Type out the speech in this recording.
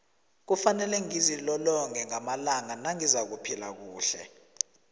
kufanele ngizilolonge ngamalanga nangizakuphila kuhle